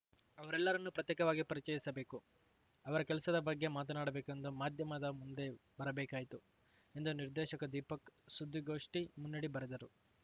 ಅವರೆಲ್ಲರನ್ನು ಪ್ರತ್ಯೇಕವಾಗಿ ಪರಿಚಯಿಸಬೇಕು ಅವರ ಕೆಲಸದ ಬಗ್ಗೆ ಮಾತನಾಡಬೇಕೆಂದು ಮಾಧ್ಯಮದ ಮುಂದೆ ಬರಬೇಕಾಯಿತು ಎಂದು ನಿರ್ದೇಶಕ ದೀಪಕ್‌ ಸುದ್ದಿಗೋಷ್ಠಿ ಮುನ್ನುಡಿ ಬರೆದರು